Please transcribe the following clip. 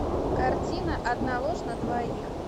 картина одна ложь на двоих